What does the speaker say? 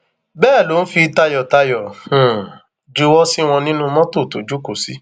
um bẹẹ ló ń fi tayọtayọ um juwọ sí wọn nínnu mọtò tó jókòó sí